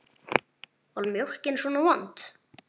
Var mjólkin svona vond?